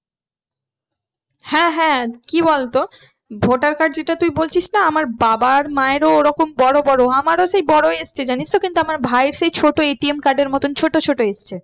হ্যাঁ হ্যাঁ কি বলতো voter card যেটা তুই বলছিস না আমার বাবা আর মায়ের ও ওরকম বড়ো বড়ো আমারও সেই বড়োই এসছে জানিস তো কিন্তু আমার ভাইয়ের সেই ছোট্টো ATM card এর মতন ছোটো ছোটো এসছে।